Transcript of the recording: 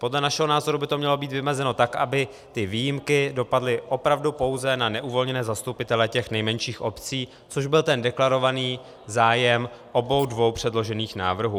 Podle našeho názoru by to mělo být vymezeno tak, aby ty výjimky dopadly opravdu pouze na neuvolněné zastupitele těch nejmenších obcí, což byl ten deklarovaný zájem obou dvou předložených návrhů.